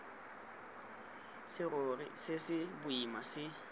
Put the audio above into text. serori se se boima se